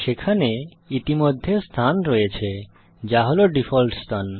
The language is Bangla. সেখানে ইতিমধ্যে স্থান রয়েছে যা হল ডিফল্ট স্থান